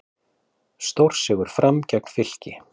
Stórsigur Fram gegn Fylki